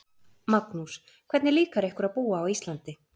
Magnús: Hvernig líkar ykkur að búa á Íslandi?